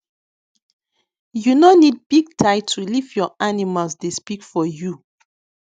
you no need big title if your animals dey speak for you